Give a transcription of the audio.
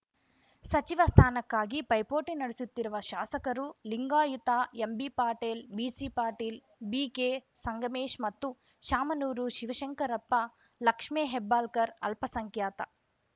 ಸಚಿವ ಸ್ಥಾನಕ್ಕಾಗಿ ಪೈಪೋಟಿ ನಡೆಸುತ್ತಿರುವ ಶಾಸಕರು Lingayat MB Patil BC Patil BK Sangamesh ಮತ್ತು ಶಾಮನೂರು ಶಿವಶಂಕರಪ್ಪ ಲಕ್ಷ್ಮೇ ಹೆಬ್ಬಾಳಕರ್‌ ಅಲ್ಪಸಂಖ್ಯಾತ